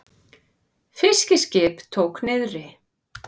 Fiskiskip tók niðri